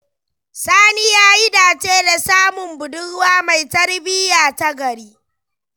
Sani ya yi dace da samun budurwa mai tarbiyya ta gari.